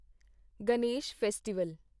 Ganesh festival